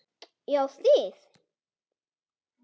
Já þið!